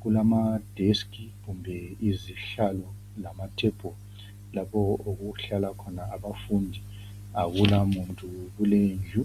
kulama deskhi kumbe izihlalo lama thembulu lapho okuhlala khona abafundi akulamuntu kuleyo indlu.